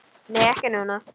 Nei, ekki núna.